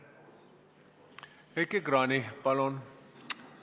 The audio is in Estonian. Heiki Kranich, palun!